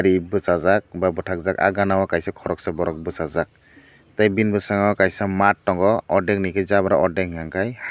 eet bwsajak ba batakjak ah gana o kaisa koroksa borok bera jak tai bini bwskango kaisa maat tongo ordak ni unka ke jabra order unka ke haa.